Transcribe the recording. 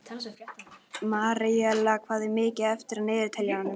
Maríella, hvað er mikið eftir af niðurteljaranum?